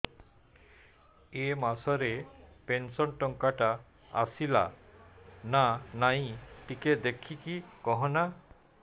ଏ ମାସ ରେ ପେନସନ ଟଙ୍କା ଟା ଆସଲା ନା ନାଇଁ ଟିକେ ଦେଖିକି କହନା